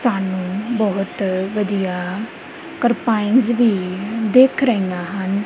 ਸਾਨੂੰ ਬਹੁਤ ਵਧੀਆ ਟਰਪਾਈਨਸ ਵੀ ਦਿਖ ਰਹੀਆਂ ਹਨ।